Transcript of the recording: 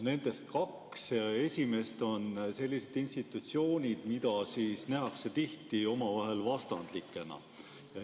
Nendest kaks esimest on sellised institutsioonid, mida nähakse tihti vastandlikena.